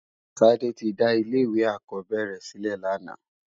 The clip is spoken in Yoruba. Tade ti dá ilé iwé ákòbèrè silè làná